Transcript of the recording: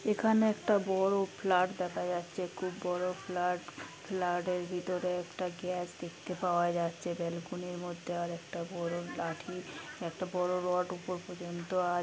এখানে একটা বড় ফ্ল্যাট দেখা যাচ্ছে। খুব বড় ফ্ল্যাট । ফ্ল্যাট এর ভিতরে একটা গ্যাস দেখতে পাওয়া যাচ্ছে। ব্যালকনির মধ্যে আর একটা বড় লাঠি। একটা বড় রড উপর পর্যন্ত আ--